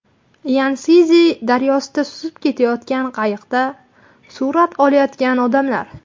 Yanszi daryosida suzib ketayotgan qayiqda surat olayotgan odamlar.